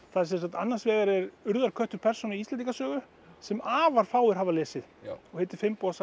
annars vegar er urðarköttur persóna í Íslendingasögu sem afar fáir hafa lesið og heitir